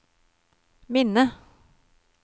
minne